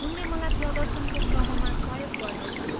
उनले मलाई प्रदर्शनको क्रममा सहयोग गर्नेछन्।